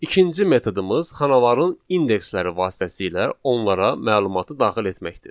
İkinci metodumuz xanaların indeksləri vasitəsilə onlara məlumatı daxil etməkdir.